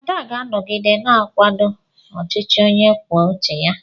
Ada ga-anọgide na-akwado ọchịchị onye kwuo uche ya.